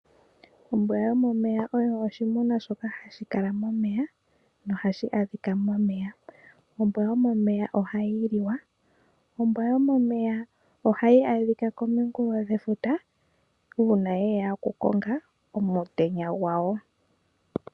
Ombwa yomomeya oyo oshinima shoka hashi kala momeya nohashi adhika momeya. Ombwa yomomeya ohayi liwa. Ombwa yomomeya ohayi adhika komunkulo gwefuta uuna ye ya okukonga omutenya gwayo.